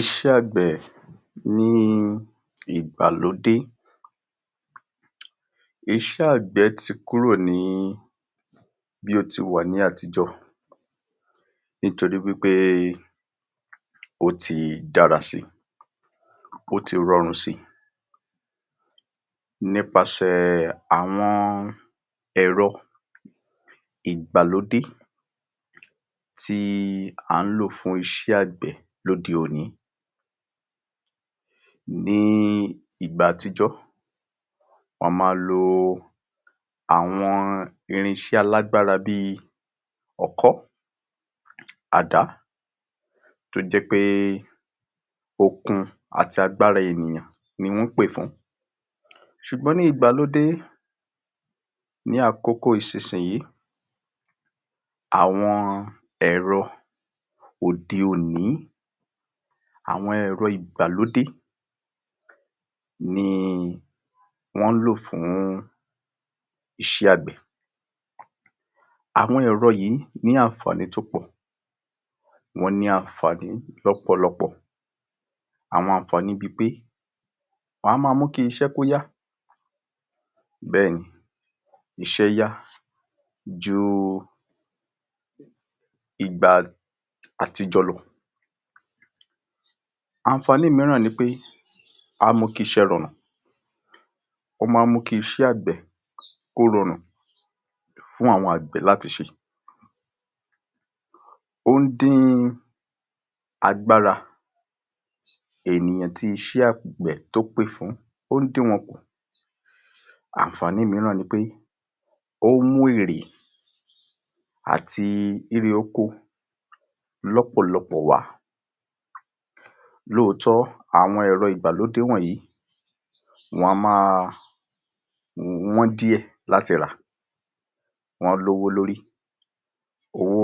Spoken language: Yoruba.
Iṣẹ́ àgbẹ̀ ní igbàlódé iṣẹ́ àgbẹ̀ ti kúrò ní bí ó ti wà ní àtijọ́ nítorí wípé ó ti dára si, ó ti ranrùn si, nípasẹ̀ àwọn ẹ̀rọ igbàlódé tí à ń lò fún iṣẹ́ àgbẹ̀ lóde òní, ní igbà àtijọ́ a ma lo irinṣẹ́ alágbára bí ọkọ́, àdá tó jẹ́ pé okun àti agbára ènìyàn ni wọ́n pè fún ṣùgbọ́n ní igbàlódé ní àkókò ìsinsìyín àwọn ẹ̀rọ òde òní àwọn ẹ̀rọ igbàlódé ni wọ́n ń lò fún iṣẹ́ àgbẹ̀. Àwọn ẹ̀rọ yìí ní anfààní tó pọ̀ wọ́n ní anfààní lọ́pọ̀lọpọ̀, àwọn anfààní bi pé wọ́n á ma mú kí iṣẹ́ kó yá bẹ́ẹ̀ni iṣẹ́ yá ju ìgbà àtijọ́ lọ anfààní mìíràn ni pé á mú kí iṣẹ́ rarùn, ó máa ń mú kí iṣẹ́ àgbẹ̀ kó rarùn fún àwọn àgbẹ̀ láti ṣe, ó ń dín agbára ènìyàn tí iṣẹ́ àgbẹ̀ tó pè fún ó ń dín wọn kùn, anfààní mìíràn ni pé ón mú èrè àti èrè oko lọ́pọ̀lọpọ̀ wà lóòótọ́ àwọn ẹ̀rọ igbàlódé wọ̀nyìí wọn á ma wọn díẹ̀ láti rà, wọ́n lówó lórí, owó